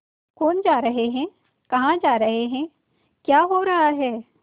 कौन जा रहे हैं कहाँ जा रहे हैं क्या हो रहा है